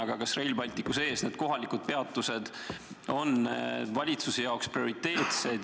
Aga kas Rail Balticule rajatavad kohalikud peatused on samuti valitsuse jaoks prioriteetsed?